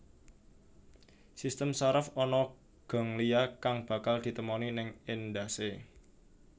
Sistem saraf ana ganglia kang bakal ditemoni ning endhasé